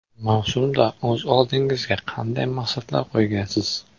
Mavsumda o‘z oldingizga qanday maqsadlar qo‘ygansiz?